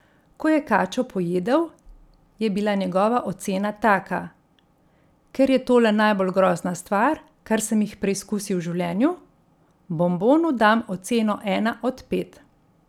Ko je kačo pojedel, je bila njegova ocena taka: 'Ker je tole najbolj grozna stvar, kar sem jih preizkusil v življenju, bombonu dam oceno ena od pet.